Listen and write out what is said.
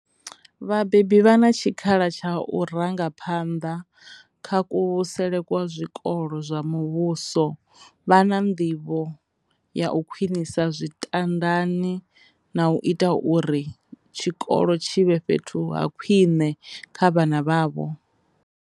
Vhabebi vha na tshikhala tsha u ranga phanḓa kha kuvhusele kwa zwikolo zwa muvhuso vha na nḓivho ya u khwinisa zwitandadi na u ita uri tshikolo tshi vhe fhethu ha khwine kha vhana vhavho.